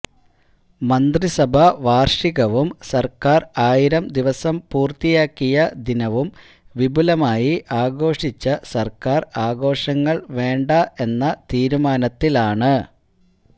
മന്ത്രിസഭാ വാര്ഷികവും സര്ക്കാര് ആയിരം ദിവസം പൂര്ത്തിയാക്കിയ ദിനവും വിപുലമായി ആഘോഷിച്ച സര്ക്കാര് ആഘോഷങ്ങള് വേണ്ട എന്ന തീരുമാനത്തിലാണ്